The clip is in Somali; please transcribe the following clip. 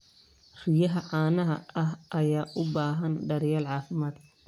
Riyaha caanaha ayaa u baahan daryeel caafimaad.